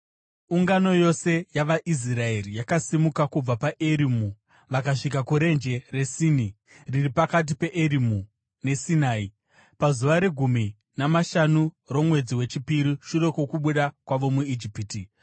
Ungano yose yavaIsraeri yakasimuka kubva paErimu vakasvika kuRenje reSini, riri pakati peErimu neSinai, pazuva regumi namashanu romwedzi wechipiri shure kwokubuda kwavo muIjipiti.